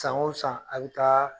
San o san a bi taa